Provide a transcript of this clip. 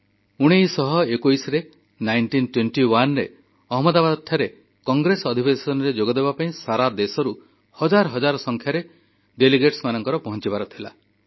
1921ରେ ଅହମଦାବାଦଠାରେ କଂଗ୍ରେସ ଅଧିବେଶନରେ ଯୋଗ ଦେବାପାଇଁ ସାରା ଦେଶରୁ ହଜାର ହଜାର ସଂଖ୍ୟାରେ ପ୍ରତିନିଧିଙ୍କର ପହଞ୍ଚିବାର ଥିଲା